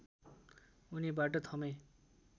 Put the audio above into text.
उनीबाट थमे